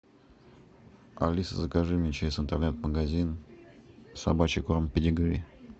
алиса закажи мне через интернет магазин собачий корм педигри